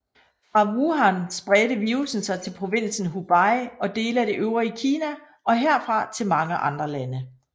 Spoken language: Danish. Fra Wuhan spredte virussen sig til provinsen Hubei og dele af det øvrige Kina og herfra til mange andre lande